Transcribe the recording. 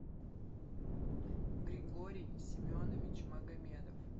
григорий семенович магомедов